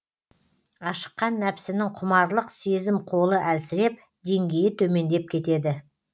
ашыққан нәпсінің құмарлық сезім қолы әлсіреп деңгейі төмендеп кетеді